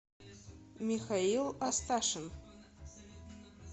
михаил асташин